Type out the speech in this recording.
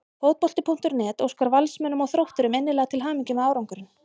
Fótbolti.net óskar Valsmönnum og Þrótturum innilega til hamingju með árangurinn.